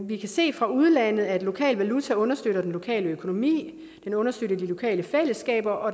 vi kan se fra udlandet at lokal valuta understøtter den lokale økonomi understøtter de lokale fællesskaber og